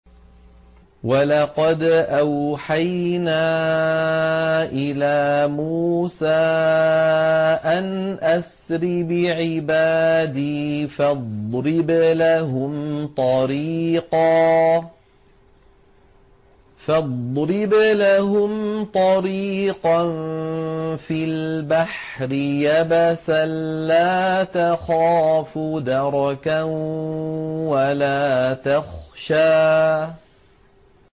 وَلَقَدْ أَوْحَيْنَا إِلَىٰ مُوسَىٰ أَنْ أَسْرِ بِعِبَادِي فَاضْرِبْ لَهُمْ طَرِيقًا فِي الْبَحْرِ يَبَسًا لَّا تَخَافُ دَرَكًا وَلَا تَخْشَىٰ